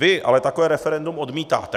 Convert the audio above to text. Vy ale takové referendum odmítáte.